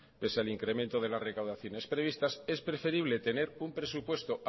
pese al incremento de las recaudaciones previstas es preferible tener un presupuesto